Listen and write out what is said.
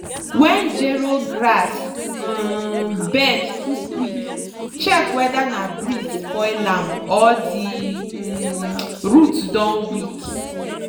wen gero grass um bend too quick check weather na breeze spoil am or di um root don weak.